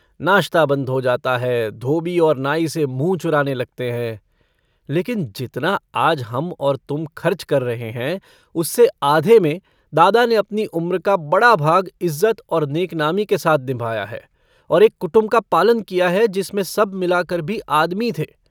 नाश्ता बन्द हो जाता है। धोबी और नाई से मुँह चुराने लगते हैं। लेकिन जितना आज हम और तुम खर्च कर रहे हैं उससे आधे में दादा ने अपनी उम्र का बड़ा भाग इज़्ज़त और नेकनामी के साथ निभाया है और एक कुटुम्ब का पालन किया है जिसमें सब मिलाकर भी आदमी थे।